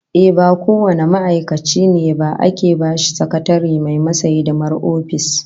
Ehh, ba kowane ma'aikaci ne ba ake bashi sakatare mai masa hidimar office